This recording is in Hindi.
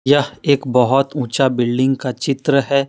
यह एक बहोत ऊंचा बिल्डिंग का चित्र है।